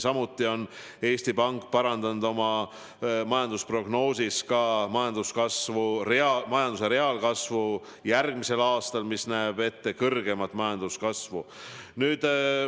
Samuti on Eesti Pank parandanud oma majandusprognoosi majanduse reaalkasvu kohta järgmisel aastal: see näeb ette kõrgemat majanduskasvu.